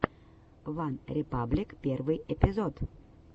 ван репаблик первый эпизод